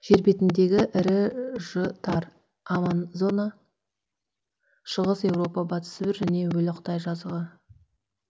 жер бетіндегі ірі ж тар амазона шығыс еуропа батыс сібір және өлі қытай жазығы